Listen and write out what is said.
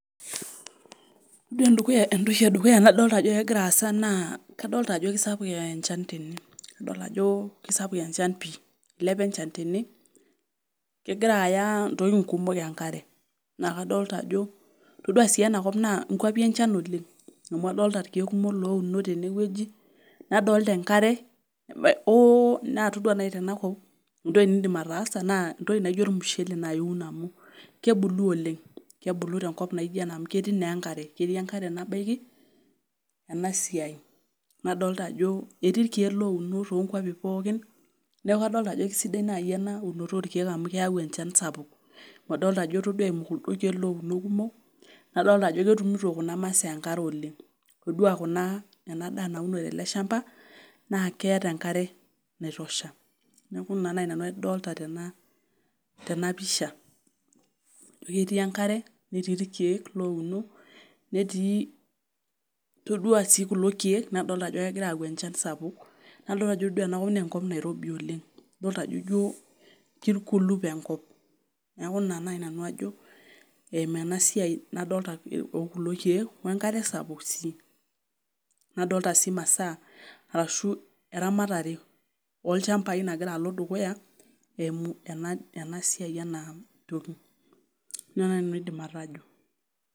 Oore entoki e dukuya nagira aadol naa kadolta ajo kaisapuk enchan teene. Adol aajo eilepa enchan tene, aisapuk enchan teene, kegira aaya intokitin kuumok enkare. Naa kadolta aajo, itoduaa sii eena kop aajo ikwapi enchan oleng' amuu adolta irkeek kumok ounot teene wueji, nadolta enkare, naa itoduaa naaji teena kop naa entoki naijo ormushele ninye iun amuu kebulu oleng. Kebulu tenkop naijo eena amuu ketii naa enkare, ketii enkare nabaiki eena siai. Nadolta aajo ketii irkeek louno tokwapi pooki niaku kadolta aajo kesidai naaji eena unoto orkeek amuu keyau enchan sapuk. Amuu aolta aaajo oor eimu kuldo keek kumok naa ketumito kuna masaa enkare oleng. Toduaa eele shamba ouno teena naa keeta enkare naitosha. Niaku iina naaji nanu adolta teena pisha. Aajo ketii enkare, netii irkeek louno, netii, toduaa sii kulo keek nadolta ajo kegira ayau enchan sapuk nadol aajo oore enakop naa enkop nairobi oleng. Idolta aajo iijo kaikurlup enkop niaku iina naji nanu aajo eimu eena siaia nadolta okulo keek wenkare sapuk sii